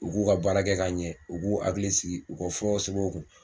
U g'u ka baara kɛ ka ɲɛ u g'u akili sigi u ka furaw sɛbɛn u kun